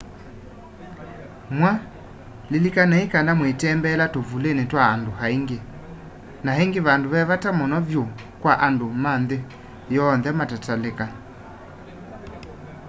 mwa lilikanai kana mwitembelea tuvuli twa andu aingi na ingi vandu ve vata muno vyu kwa andu ma nthi yonthe matatalika